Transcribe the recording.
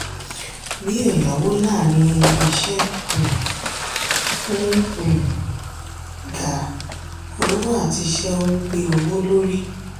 bí ẹ̀yáwó láàrin ilé iṣẹ́ um ń um ga ówó àti ìṣe ń gbé owó lórí.